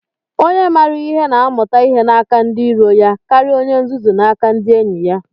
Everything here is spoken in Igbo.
Onye maara ihe na-amụta ihe n'aka ndị iro ya karịa onye nzuzu n'aka ndị enyi ya.